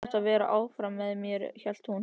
Þú hefðir átt að vera áfram með mér, hélt hún.